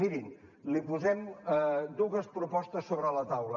mirin li posem dues propostes sobre la taula